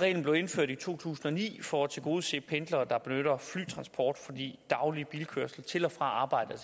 reglen blev indført i to tusind og ni for at tilgodese pendlere der benytter flytransport fordi daglig bilkørsel til og fra arbejdet